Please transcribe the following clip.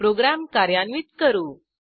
program कार्यान्वित करू